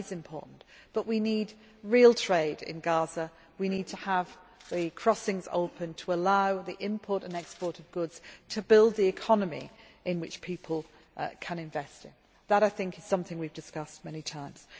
Gaza. That is important, but we need real trade in Gaza, we need to have the crossings open to allow the import and export of goods to build an economy in which people can invest. That I think is something we have discussed many